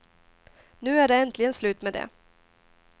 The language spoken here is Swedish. Nu är det äntligen slut med det.